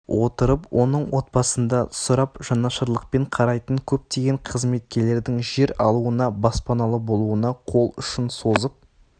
отырып оның отбасында сұрап жанашырлықпен қарайтын көптеген қызметкерлердің жер алуына баспаналы болуына қол ұшын созып